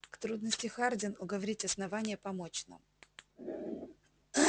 к трудности хардин уговорить основание помочь нам